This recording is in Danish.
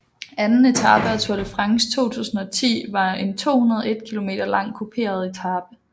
Anden etape af Tour de France 2010 var en 201 km lang kuperet etape